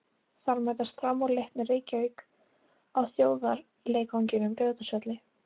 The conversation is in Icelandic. Þar mætast Fram og Leiknir Reykjavík á þjóðarleikvangnum, Laugardalsvelli.